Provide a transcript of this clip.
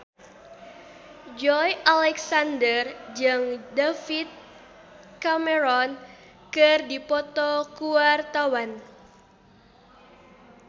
Joey Alexander jeung David Cameron keur dipoto ku wartawan